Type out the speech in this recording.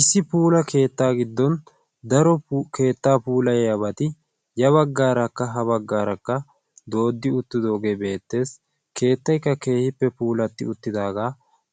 issi puula keettaa giddon daro keettaa puulai yaabati ya baggaarakka ha baggaarakka dooddi uttidoogee beettees. keettaykka keehippe puulatti uttidaagaa